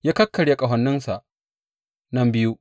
Ya kakkarya ƙahoninsa nan biyu.